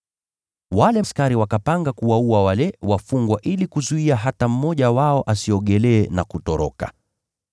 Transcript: Wale askari wakapanga kuwaua wale wafungwa ili kuzuia hata mmoja wao asiogelee na kutoroka.